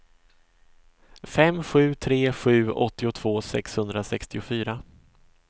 fem sju tre sju åttiotvå sexhundrasextiofyra